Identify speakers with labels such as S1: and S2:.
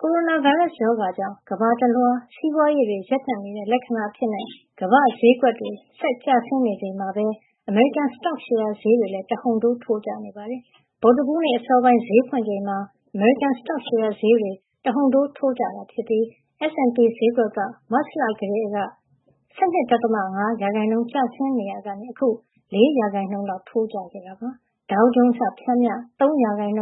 S1: ကိုရိုနာဗိုင်းရပ်စ် ရောဂါကြောင့် ကမ္ဘာတလွှား စီးပွားရေးတွေ ရပ်တံ့ နေတဲ့ လက္ခဏာ အဖြစ် ကမ္ဘာ့ ဈေးကွက်တွေ ကျဆင်း နေချိန်မှာပဲ အမေရိကန် စတော့ရှယ်ယာ ဈေးတွေ လည်း တဟုန်ထိုး ထိုးကျနေပါတယ်။ ဗုဒ္ဓဟူးနေ့ အစောပိုင်း ဈေးဖွင့် ချိန်မှာ အမေရိကန် စတော့ရှယ်ယာ ဈေးတွေ တဟုန်တိုး ထိုးကျ သွားတာပါ။ S&P ဈေးကွက်က မတ်လ ကတည်းက ၁၂.၅ % ကျဆင်းနေရာကနေ အခု ၄ % လောက် ထိုးကျသွားတာ ဖြစ်ပါတယ်။ Dow Jones က ပျမ်းမျှ ၃